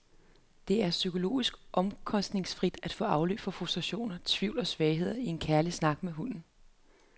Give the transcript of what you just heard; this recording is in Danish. Det er psykologisk omkostningsfrit at få afløb for frustrationer, tvivl og svagheder i en kærlig snak med hunden.